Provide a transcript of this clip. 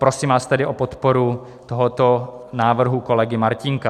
Prosím vás tedy o podporu tohoto návrhu kolegy Martínka.